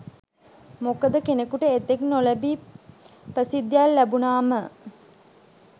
මොකද කෙනෙකුට එතෙක් නොලැබි ප්‍රසිද්ධියක් ලැබුණාම